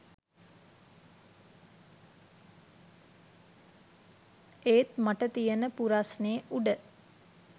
ඒත් මට තියන පුරස්නේ උඩ